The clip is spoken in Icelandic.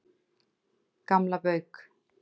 Gamla Bauk